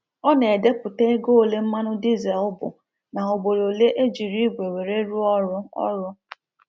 Ọ na edeputa ego ole mmanụ dizel bụ na ugboro ole ejiri ìgwe were rụọ ọrụ ọrụ